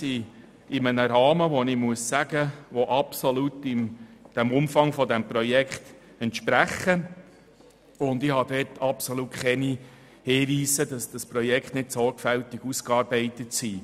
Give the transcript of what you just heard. Die Kosten bewegen sich in einem absolut dem Umfang dieses Projekts entsprechenden Rahmen, und ich habe keine Hinweise darauf, dass das Projekt nicht sorgfältig ausgearbeitet wurde.